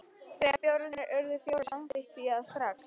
Þegar bjórarnir urðu fjórir, samþykkti ég það strax.